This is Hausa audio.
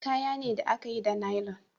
Kaya ne da a ka yi da nailon